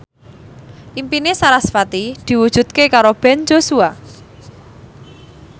impine sarasvati diwujudke karo Ben Joshua